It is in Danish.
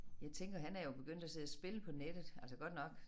Jeg tænker han er jo begyndt at sidde og spille på nettet altså godt nok